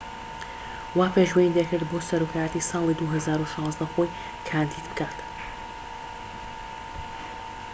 وا پێشبینی دەکرێت بۆ سەرۆکایەتی ساڵی ٢٠١٦ خۆی کاندید بکات